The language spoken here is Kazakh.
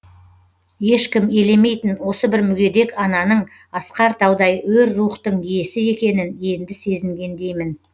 ешкім елемейтін осы бір мүгедек ананың асқар таудай өр рухтың иесі екенін енді сезінгендеймін